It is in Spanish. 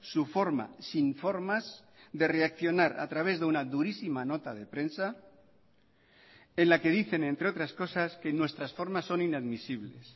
su forma sin formas de reaccionar a través de una durísima nota de prensa en la que dicen entre otras cosas que nuestras formas son inadmisibles